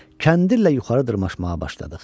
Kəndirlə yuxarı dırmaşmağa başladıq.